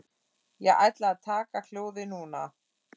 Ég ætla að taka hjólið núna.